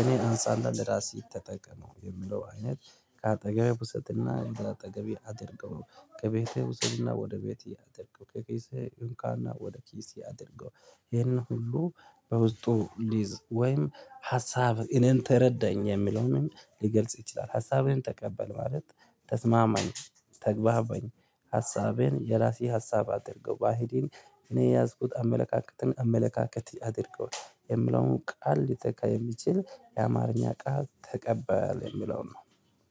እኔን አንሳ እና ለራህ ተጠቀመው የምለው አይነት ከአጠገቤ ውሰድና ከአጠገቤ አድርገው ከቤቴ ውሰድና ወደ ቤቴ አድርገው ከቤቴ እንካና ወደ ኪስ አደርገው። ይህንን ሁሉ በውስጡ ሊይዝ ወይም ሀሳብ እኔን ተረዳኝ የሚለውንም ሊገልጽ ይችላል። ሀሳብን ተቀበል ማለት ተስማማኝ ተግባበኝ ሀሳቤን የራሴ ሀሳብ አድርገው ባህሌን እኔ የያዝኩት አመለካከትን አመለካከት አድርገውታል የምለውን ቃል ሊተካ የሚችል የአማርኛ ቃል ተቀበል የሚለው ነው።